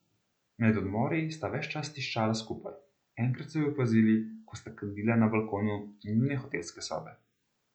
Med odmori sta ves čas tiščala skupaj, enkrat so ju opazili, ko sta kadila na balkonu njune hotelske sobe.